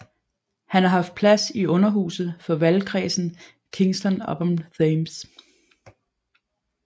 Han har haft plads i Underhuset for valgkredsen Kingston upon Thames